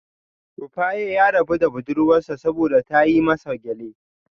Rufaye ya rabu da budurwar sa saboda ta yi masa gyale